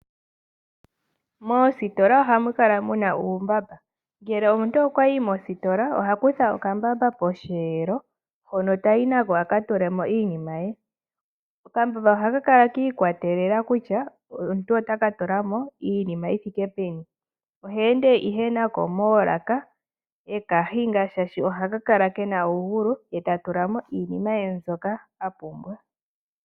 Moositola ohamu kala muna uumbamba, ngele omuntu okwa yi mositola oha kutha okambamba posheelo hono ta yi na ko a ka tule mo iinima ye. Okambamba oha ka kala kiikwatelela kutya omuntu ota ka tula mo iimaliwa yithike peni. Ohe ende ihe na ko moolaka eka hinga shaashi oha ka kala kena uugulu eta tula mo iinima ye mbyoka a pumbwa.